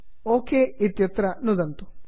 okay ओके इत्यत्र नुदन्तु